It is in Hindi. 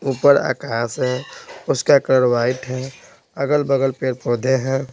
ऊपर आकाश है उसका कलर वाइट है अगल-बगल पेड़-पौधे हैं।